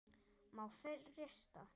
Má frysta.